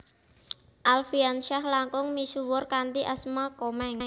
Alfiansyah langkung misuwur kanthi asma Komeng